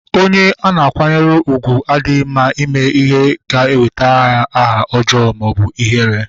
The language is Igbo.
Onye ana akwanyere ugwu adịghị mma ime ihe ga-ewetara ya ajo aha maọbụ ihere